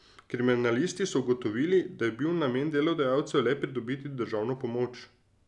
Kriminalisti so ugotovili, da je bil namen delodajalcev le pridobiti državno pomoč.